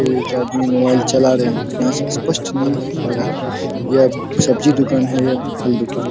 एक आदमी मोबाइल चला रहे है यहाँ से स्पष्ट नहीं देख पा रहा है की सब्जी दुकान है या फल दुकान है।